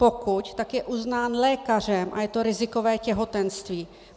Pokud, tak je uznán lékařem a je to rizikové těhotenství.